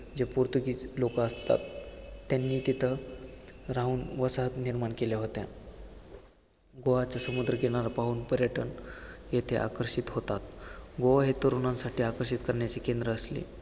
जे पोर्तुगीज लोकं असतात, त्यांनी तिथं राहून वसाहत निर्माण केल्या होत्या. गोव्याचा समुद्र किनारा पाहून पर्यटन येथे आकर्षित होतात. गोवा हे तरुणांसाठी आकर्षित करण्याचे केंद्र असले, तरी